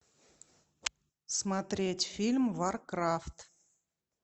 смотреть фильм варкрафт